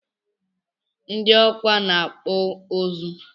Nid Awka na akpụ ozu